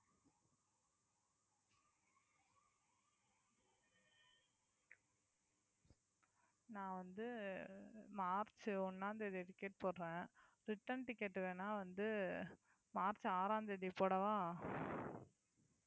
நான் வந்து மார்ச் ஒண்ணாம் தேதி ticket போடுறேன் return ticket வேணா வந்து மார்ச் ஆறாம் தேதி போடவா